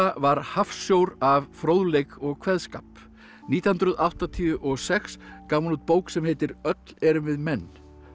var hafsjór af fróðleik og kveðskap nítján hundruð áttatíu og sex gaf hún út bók sem heitir öll erum við menn